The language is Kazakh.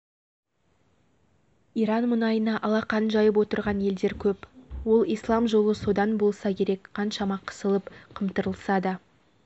иран мұнайына алақан жайып отырған елдер көп ол ислам жолы содан болса керек қаншама қысылып-қымтырылса да